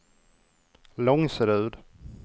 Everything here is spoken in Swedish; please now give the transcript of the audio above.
Långserud